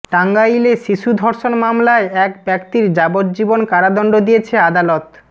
টাঙ্গাইলে শিশু ধর্ষন মামলায় এক ব্যক্তির যাবজ্জীবন কারাদন্ড দিয়েছে আদালত